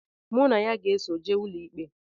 Mụ na ya so jee ụlọikpe